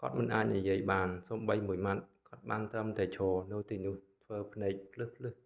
គាត់មិនអាចនិយាយបានសូម្បីមួយម៉ាត់ គាត់បានត្រឹមតែឈរនៅទីនោះធ្វើភ្នែកភ្លឹះៗ